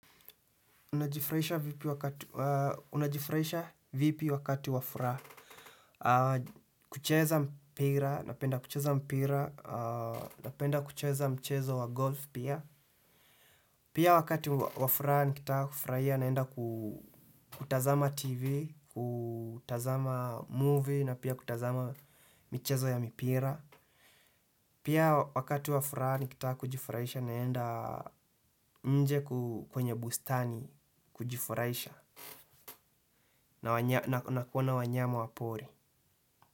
Unajifurahisha vipi wakati wa furaha? Kucheza mpira, napenda kucheza mpira, napenda kucheza mchezo wa golf pia. Pia wakati wa furaa nikitaka kufurahia naenda kutazama tv, kutazama movie na pia kutazama michezo ya mipira. Pia wakati wa furaa nikitaka kujifurahisha naenda nje kwenye bustani kujifurahisha. Na wanya na kuona wanyama wapori.